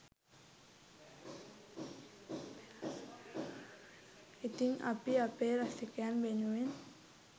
ඉතින් අපි අපේ රසිකයන් වෙනුවෙන්